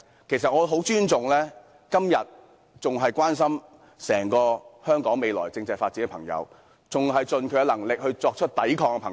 其實，我很尊重今天仍然關心香港未來政制發展的人，以及仍然盡力作出抵抗的人。